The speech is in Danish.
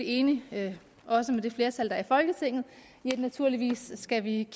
enig med det flertal der er i folketinget i at vi naturligvis skal kigge